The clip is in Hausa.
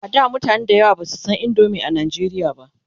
a da mutane da yawa Basu San indomie a nigeria ba